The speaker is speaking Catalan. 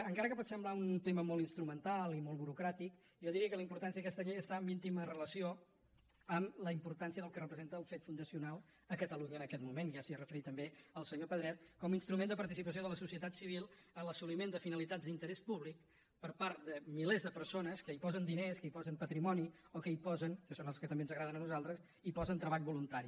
encara que pot semblar un tema molt instrumental i molt burocràtic jo diria que la importància d’aquesta llei està en íntima relació amb la importància del que representa el fet fundacional a catalunya en aquest moment ja s’hi ha referit també el senyor pedret com a instrument de participació de la societat civil en l’assoliment de finalitats d’interès públic per part de milers de persones que hi posen diners que hi posen patrimoni o que hi posen que són els que també ens agraden a nosaltres treball voluntari